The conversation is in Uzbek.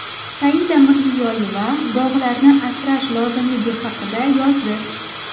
Saida Mirziyoyeva bog‘larni asrash lozimligi haqida yozdi .